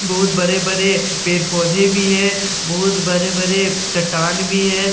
बोहोत बरे-बरे पेड़-पौधे भी हैं बोहोत बरे-बरे चट्टान भी हैं --